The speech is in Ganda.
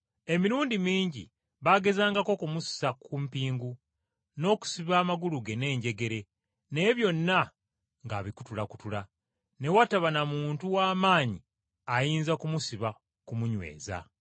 Emirundi mingi baagezangako okumussa ku mpingu n’okusiba amagulu ge n’enjegere naye byonna ng’abikutulakutula. Ne wataba na muntu w’amaanyi ayinza kumusiba kumunyweza.